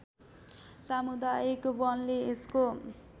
सामुदायिक वनले यसको